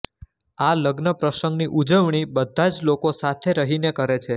આ લગ્ન પ્રંસંગની ઉજવણી બધાજ લોકો સાથે રહીને કરે છે